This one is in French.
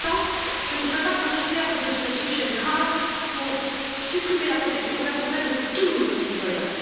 Pour autant, je ne voudrais pas que l'on se serve de ce sujet grave pour supprimer la protection personnelle de tous nos concitoyens.